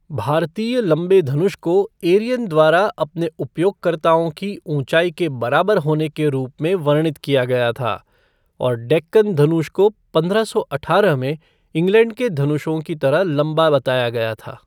भारतीय लंबे धनुष को एरियन द्वारा अपने उपयोगकर्ताओं की ऊंचाई के बराबर होने के रूप में वर्णित किया गया था, और डेक्कन धनुष को पंद्रह सौ अठारह में इंग्लैंड के धनुषों की तरह लंबा बताया गया था।